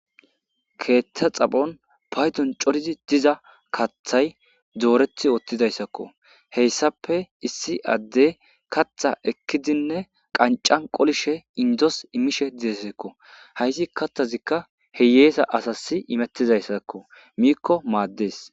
Keththa xaphoni payddon kehi coridi diza kaththayi doreti diza isako he issappe issi adde kaththa ekidinne qanican qolishe indoze immishe desiko ha kaththazika hiyesa asasi imetiza izika miko maddes.